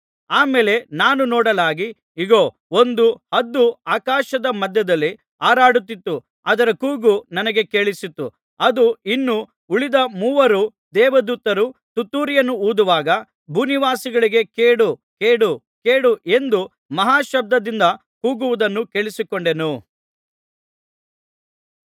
ಆ ಮೇಲೆ ನಾನು ನೋಡಲಾಗಿ ಇಗೋ ಒಂದು ಹದ್ದು ಆಕಾಶದ ಮಧ್ಯದಲ್ಲಿ ಹಾರಾಡುತ್ತಿತ್ತು ಅದರ ಕೂಗು ನನಗೆ ಕೇಳಿಸಿತು ಅದು ಇನ್ನು ಉಳಿದ ಮೂವರು ದೇವದೂತರು ತುತ್ತೂರಿಯನ್ನು ಊದುವಾಗ ಭೂನಿವಾಸಿಗಳಿಗೆ ಕೇಡು ಕೇಡು ಕೇಡು ಎಂದು ಮಹಾಶಬ್ದದಿಂದ ಕೂಗುವುದನ್ನು ಕೇಳಿಸಿಕೊಂಡೆನು